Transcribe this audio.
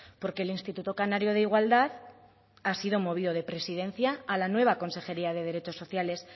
porque el instituto canario de igualdad ha sido movido de presidencia a la nueva consejería de derechos sociales